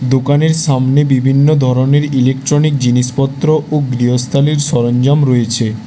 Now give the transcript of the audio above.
দোকানের সামনে বিভিন্ন ধরনের ইলেকট্রনিক জিনিসপত্র ও গৃহস্থালির সরঞ্জাম রয়েছে।